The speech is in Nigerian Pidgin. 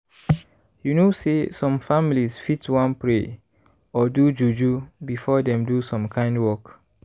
you know say some families fit wan pray or do juju before dem do some kind work.